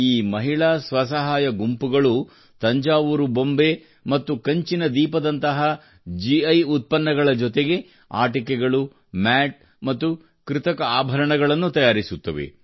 ಈ ಮಹಿಳಾ ಸ್ವಸಹಾಯ ಗುಂಪುಗಳು ತಂಜಾವೂರು ಬೊಂಬೆ ಮತ್ತು ಕಂಚಿನ ದೀಪದಂತಹ ಗಿ ಉತ್ಪನ್ನಗಳ ಜೊತೆಗೆ ಆಟಿಕೆಗಳು ಮ್ಯಾಟ್ ಮತ್ತು ಕೃತಕ ಆಭರಣಗಳನ್ನು ತಯಾರಿಸುತ್ತವೆ